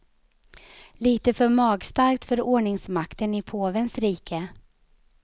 Lite för magstarkt för ordningsmakten i påvens rike.